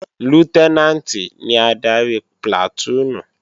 Lútẹ́nàǹtì ni adarí plàtúùnù